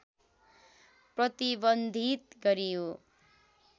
प्रतिबन्धित गरियो